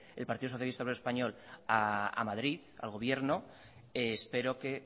el partido socialista obrero español a madrid al gobierno espero que